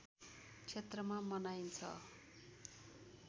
क्षेत्रमा मनाइन्छ